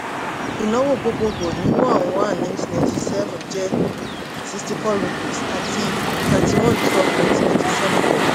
ìnáwó gbogbogbò ní one one ninety ninety-seven jẹ́ sixty-four rupees àti thirty-one twelve nineteen ninety-seven pẹ̀lú.